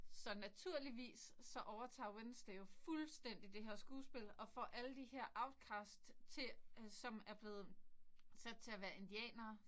Så naturligvis så overtager Wednesday jo fuldstændig det her skuespil og får alle de her outcast til som er blevet sat til at være indianere